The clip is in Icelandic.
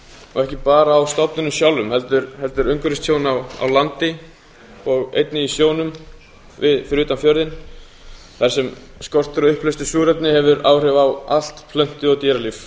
og ekki bara á stofninum sjálfum heldur umhverfistjón á landi og einnig í sjónum fyrir utan fjörðinn þar sem skortur á uppleystu súrefni hefur áhrif á allt plöntu og dýralíf